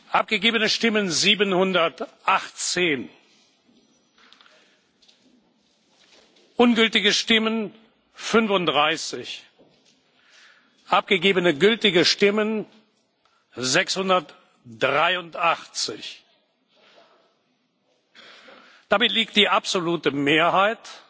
Abgegebene Stimmen 718 Ungültige Stimmen 35 Abgegebene gültige Stimmen 683 Damit liegt die absolute Mehrheit,